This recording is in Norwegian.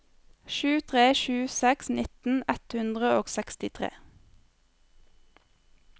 sju tre sju seks nitten ett hundre og sekstitre